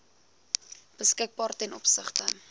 beskikbaar ten opsigte